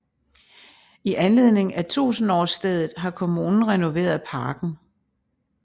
I anledning af tusenårsstedet har kommunen renoveret parken